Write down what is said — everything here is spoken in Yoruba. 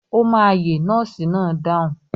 Ó máa yè nọ́ọ́sì náà dáhùn.